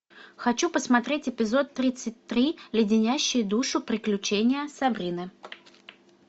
хочу посмотреть эпизод тридцать три леденящие душу приключения сабрины